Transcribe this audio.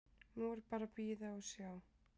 Nú er bara að bíða og sjá.